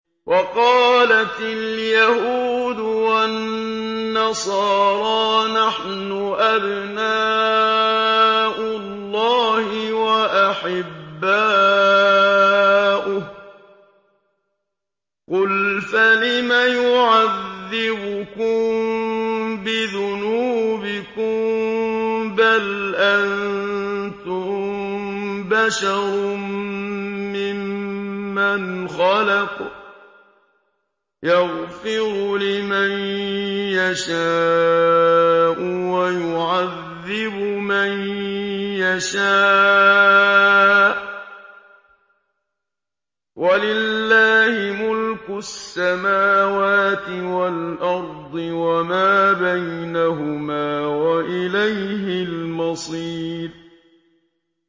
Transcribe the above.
وَقَالَتِ الْيَهُودُ وَالنَّصَارَىٰ نَحْنُ أَبْنَاءُ اللَّهِ وَأَحِبَّاؤُهُ ۚ قُلْ فَلِمَ يُعَذِّبُكُم بِذُنُوبِكُم ۖ بَلْ أَنتُم بَشَرٌ مِّمَّنْ خَلَقَ ۚ يَغْفِرُ لِمَن يَشَاءُ وَيُعَذِّبُ مَن يَشَاءُ ۚ وَلِلَّهِ مُلْكُ السَّمَاوَاتِ وَالْأَرْضِ وَمَا بَيْنَهُمَا ۖ وَإِلَيْهِ الْمَصِيرُ